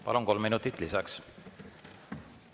Palun, kolm minutit lisaks!